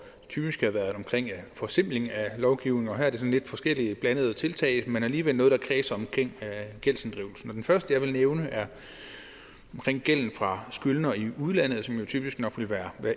typisk været omkring forsimpling af lovgivningen og her er det sådan lidt forskellige blandede tiltag men alligevel noget der kredser omkring gældsinddrivelsen det første jeg vil nævne er omkring gælden fra skyldnere i udlandet som jo typisk nok vil være